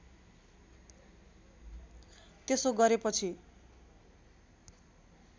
त्यसो गरेपछि